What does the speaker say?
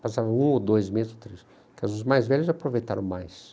Passavam um ou dois meses, ou três, porque os mais velhos aproveitaram mais.